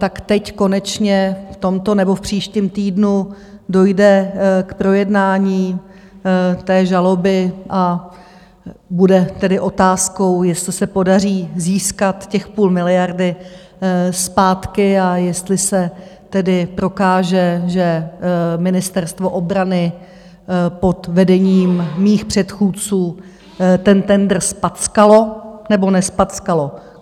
Tak teď konečně v tomto nebo v příštím týdnu dojde k projednání té žaloby, a bude tedy otázkou, jestli se podaří získat těch půl miliardy zpátky a jestli se tedy prokáže, že Ministerstvo obrany pod vedením mých předchůdců ten tendr zpackalo, nebo nezpackalo.